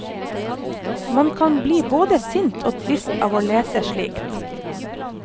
Man kan bli både sint og trist av å lese slikt.